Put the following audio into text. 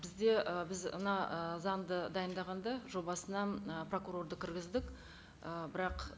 бізде ы біз мына ы заңды дайындағанда жобасына ы прокурорды кіргіздік і бірақ